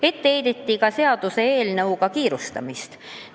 Ette heideti ka seaduseelnõuga kiirustamist.